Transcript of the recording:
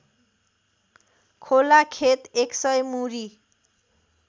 खोलाखेत एकसय मुरी